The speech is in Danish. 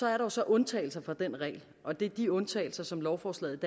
er så undtagelser fra den regel og det er de undtagelser som lovforslaget